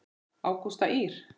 Ágústa Ýr.